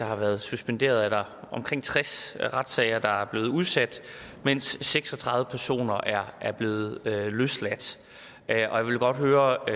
har været suspenderet omkring tres retssager der er blevet udsat mens seks og tredive personer er er blevet løsladt jeg vil godt høre